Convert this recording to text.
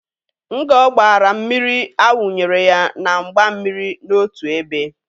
Ngo gbara mmiri a wunyere ya na mgba mmiri n'otu ebe.